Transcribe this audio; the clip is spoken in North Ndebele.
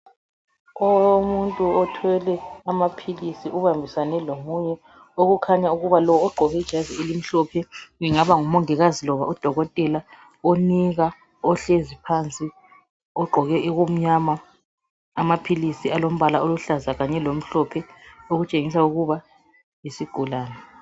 Umuntu othwele amaphilisi ubambisane lomunye okukhanya ukuba lo ogqoke ijazi elimhlophe engaba ngumongikazi loba udokotela onika ohlezi phansi ogqoke okumnyama amaphilisi alombala oluhlaza kanye lomhlophe okutshengisa ukuba yisigulane.